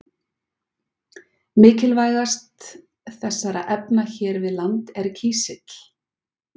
Mikilvægast þessara efna hér við land er kísill.